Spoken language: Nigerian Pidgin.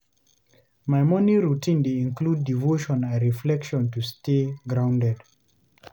My morning routine dey include devotion and reflection to stay grounded.